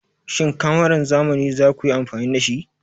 Shin kamaran zamani za ku yi amfani da shi?